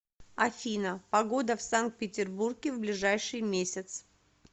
афина погода в санкт петербурге в ближайший месяц